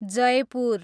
Jaipur